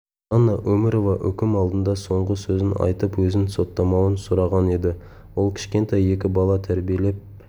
жанна өмірова үкім алдында соңғы сөзін айтып өзін соттамауын сұраған еді ол кішкентай екі бала тәрбиелеп